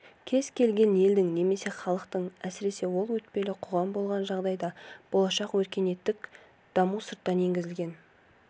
кез келген елдің немесе халықтың әсіресе ол өтпелі қоғам болған жағдайда болашақ өркениеттік дамуы сырттан енгізілген